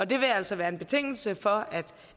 det vil altså være en betingelse for at